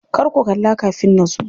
Kar ku kalla kafin nazo.